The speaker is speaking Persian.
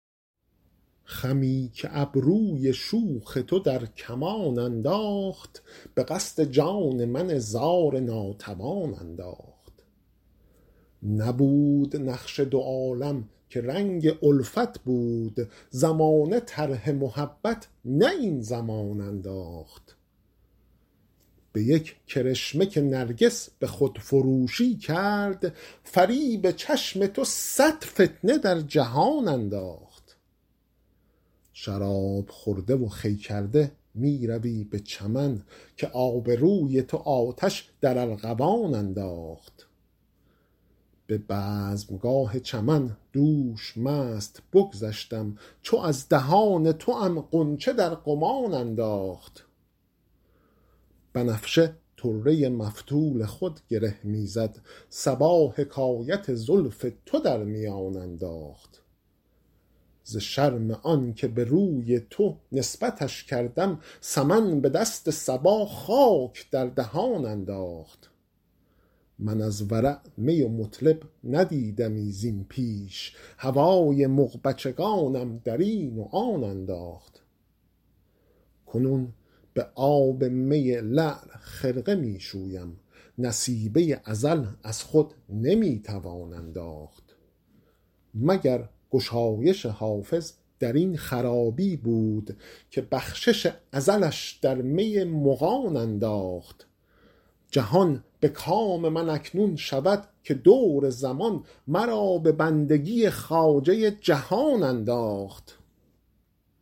خمی که ابروی شوخ تو در کمان انداخت به قصد جان من زار ناتوان انداخت نبود نقش دو عالم که رنگ الفت بود زمانه طرح محبت نه این زمان انداخت به یک کرشمه که نرگس به خودفروشی کرد فریب چشم تو صد فتنه در جهان انداخت شراب خورده و خوی کرده می روی به چمن که آب روی تو آتش در ارغوان انداخت به بزمگاه چمن دوش مست بگذشتم چو از دهان توام غنچه در گمان انداخت بنفشه طره مفتول خود گره می زد صبا حکایت زلف تو در میان انداخت ز شرم آن که به روی تو نسبتش کردم سمن به دست صبا خاک در دهان انداخت من از ورع می و مطرب ندیدمی زین پیش هوای مغبچگانم در این و آن انداخت کنون به آب می لعل خرقه می شویم نصیبه ازل از خود نمی توان انداخت مگر گشایش حافظ در این خرابی بود که بخشش ازلش در می مغان انداخت جهان به کام من اکنون شود که دور زمان مرا به بندگی خواجه جهان انداخت